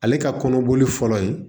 Ale ka kɔnɔboli fɔlɔ ye